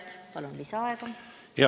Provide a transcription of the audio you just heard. Palun lisaaega!